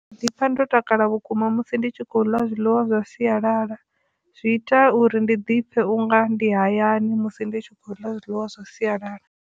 Ndi ḓi pfha ndo takala vhukuma musi ndi tshi khou ḽa zwiḽiwa zwa sialala zwi ita uri ndi dipfe unga ndi hayani musi ndi tshi khou ḽa zwiḽiwa zwa sialala.